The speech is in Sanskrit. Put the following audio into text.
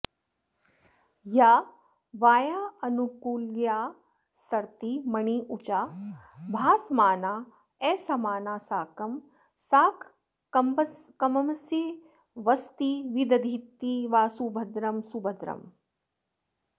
या वायावानुकूल्यात्सरति मणिरुचा भासमानाऽसमाना साकं साकम्पमंसे वसति विदधती वासुभद्रं सुभद्रम्